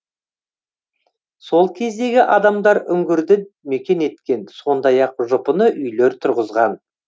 сол кездегі адамдар үңгірді мекен еткен сондай ақ жұпыны үйлер тұрғызған